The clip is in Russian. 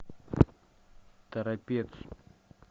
торопец